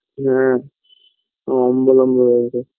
হ্যাঁ অম্বল অম্বল হয়ে গেছে